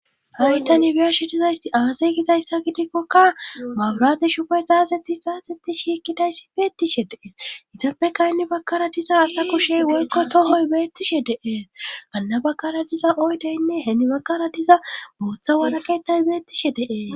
Hawyta nibiya shidizaysti aasay gizayssa gidikkokka mabrati shupe xaazetti xaazetti shikkidayssi beettishe dee isappeka henni bakara diza asa kushey woykko tohoy beettishe deee anna bakara diza oydeynne heeni bakara diza booththa waraketay beettishe deee